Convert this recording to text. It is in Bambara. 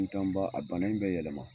F'i kan ba a bana in bɛ yɛlɛma